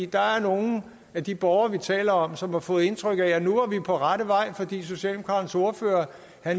der er nogle af de borgere vi taler om som har fået indtrykket af at nu var vi på rette vej fordi socialdemokraternes ordfører